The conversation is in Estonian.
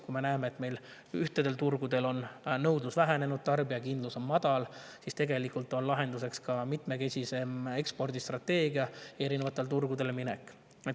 Kui me näeme, et ühtedel turgudel on nõudlus vähenenud, tarbijakindlus on madal, siis on lahenduseks mitmekesisem ekspordistrateegia, erinevatele turgudele minek.